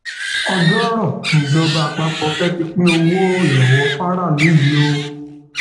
ọjọọrọ nìjọba àpapọ fẹẹ fi pín owó ìrànwọ fáráàlú ìrànwọ fáráàlú yìí o